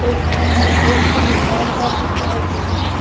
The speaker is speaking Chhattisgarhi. एक ठन बड़े चन घर ह दिखाई देत हवे।